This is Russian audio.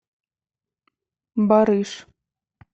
барыш